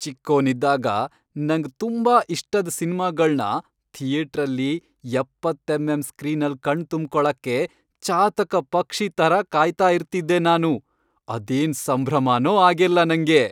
ಚಿಕ್ಕೋನಿದ್ದಾಗ, ನಂಗ್ ತುಂಬಾ ಇಷ್ಟದ್ ಸಿನ್ಮಾಗಳ್ನ ಥಿಯೇಟ್ರಲ್ಲಿ ಎಪ್ಪತ್ತ್ ಎಂಎಂ ಸ್ಕ್ರೀನಲ್ ಕಣ್ತುಂಬ್ಕೊಳಕ್ಕೆ ಚಾತಕ ಪಕ್ಷಿ ಥರ ಕಾಯ್ತಾ ಇರ್ತಿದ್ದೆ ನಾನು, ಅದೇನ್ ಸಂಭ್ರಮನೋ ಆಗೆಲ್ಲ ನಂಗೆ.